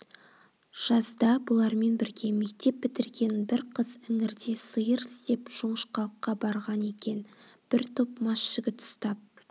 жазда бұлармен бірге мектеп бітірген бір қыз іңірде сиыр іздеп жоңышқалыққа барған екен бір топ мас жігіт ұстап